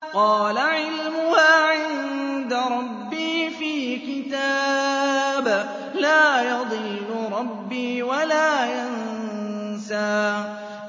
قَالَ عِلْمُهَا عِندَ رَبِّي فِي كِتَابٍ ۖ لَّا يَضِلُّ رَبِّي وَلَا يَنسَى